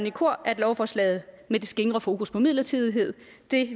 i kor at lovforslaget med det skingre fokus på midlertidighed